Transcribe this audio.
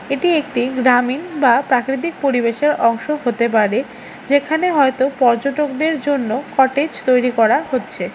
এটি একটি গ্রামীণ বা প্রাকৃতিক পরিবেশের অংশ হতে পারে যেখানে হয়তো পর্যটকদের জন্য কটেজ তৈরি করা হচ্ছে।